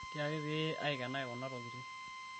tiaki pee aikenaki kuna tokiting